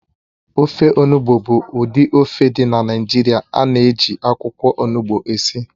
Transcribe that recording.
Ofe onugbụ bụ ụdị ofe dị na Naịjirịa ánà -eji akwụkwọ ọnụgbu esi